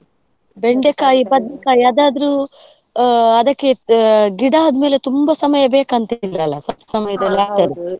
ಬದನೆಕಾಯಿ ಅದಾದ್ರು ಆ ಅದಕ್ಕೆ ಆ ಗಿಡ ಆದಮೇಲೆ ತುಂಬಾ ಸಮಯ ಬೇಕಂತ ಏನು ಇಲ್ಲ ಸ್ವಲ್ಪ ಸಮಯದಲ್ಲಿ .